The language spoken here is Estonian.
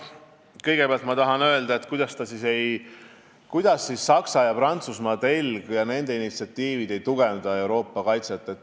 Kõigepealt ma tahan öelda, et kuidas siis Saksa- ja Prantsusmaa telg ja nende initsiatiivid ei tugevda Euroopa kaitset?